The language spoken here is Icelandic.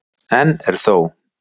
Enn er þó